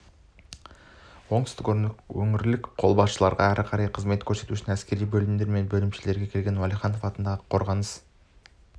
оңтүстік өңірлік қолбасшылығында әрі қарай қызмет өткеру үшін әскери бөлімдер мен бөлімшелерге келген уәлиханов атындағы қорғаныс